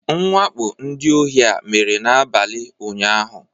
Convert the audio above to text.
Mwakpo ndị ohi a mere n'abalị ụnyahụ